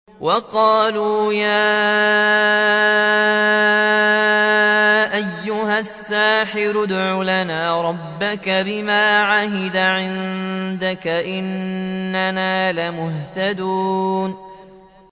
وَقَالُوا يَا أَيُّهَ السَّاحِرُ ادْعُ لَنَا رَبَّكَ بِمَا عَهِدَ عِندَكَ إِنَّنَا لَمُهْتَدُونَ